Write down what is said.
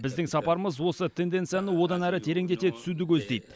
біздің сапарымыз осы тенденцияны одан әрі тереңдете түсуді көздейді